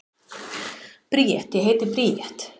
Bríet: Ég heiti Bríet.